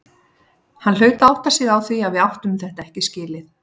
Hann hlaut að átta sig á því að við áttum þetta ekki skilið.